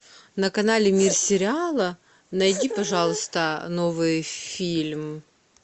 на канале мир сериала найди пожалуйста новый фильм